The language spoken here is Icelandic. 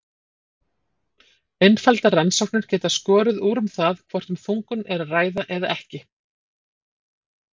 Einfaldar rannsóknir geta skorið úr um það hvort um þungun er að ræða eða ekki.